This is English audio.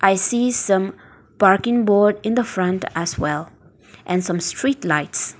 i see some parking board in the front as well and some street lights.